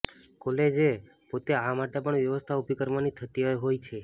કોલજે પોતે આ માટેપણ વ્યવસ્થા ઉભીકરવાની થતી હોય છે